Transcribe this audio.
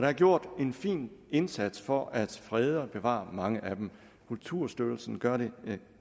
er gjort en fin indsats for at frede og bevare mange af dem kulturstyrelsen gør det